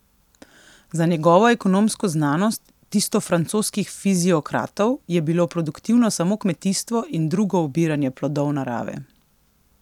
Za njegovo ekonomsko znanost, tisto francoskih fiziokratov, je bilo produktivno samo kmetijstvo in drugo obiranje plodov narave.